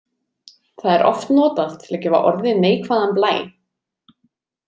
Það er oft notað til að gefa orði neikvæðan blæ.